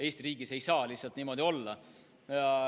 Eesti riigis ei saa lihtsalt niimoodi olla.